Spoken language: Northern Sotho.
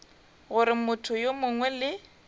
gore motho yo mongwe le